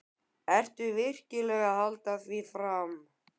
Ertu virkilega að halda því fram?